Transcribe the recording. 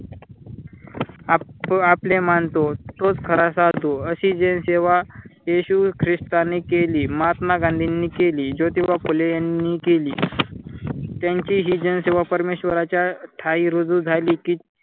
Up आपले मानतो. तोच खरा साधू अशी जनसेवा येशू ख्रिस्तानी केली महात्मा गांधींनी केली जोतिबा फुले यांनी केली. त्यांची हि जनसेवा परमेश्वराच्या ठायी रुजू झाली कि